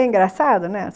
É engraçado, né?